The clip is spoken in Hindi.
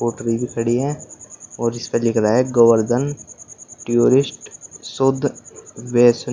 भी खड़ी हैं और इसपे लिख रहा है गोवर्धन टीयूरिस्ट शुद्ध वैष् --